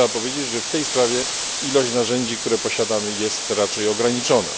Należy powiedzieć, że w tej sprawie ilość narzędzi, jaką posiadamy, jest raczej ograniczona.